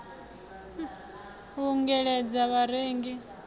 u ungeledza vharengi ngauri a